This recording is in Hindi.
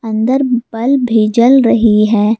अंदर बल्ब भी जल रही है।